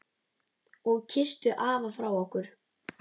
Og kysstu afa frá okkur.